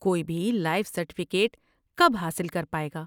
کوئی بھی life certificate کب حاصل کر پائے گا؟